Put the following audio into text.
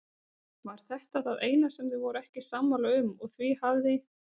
Var þetta það eina sem þau voru ekki sammála um og því hafði